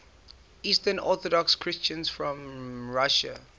eastern orthodox christians from russia